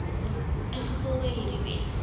ingevolge hierdie wet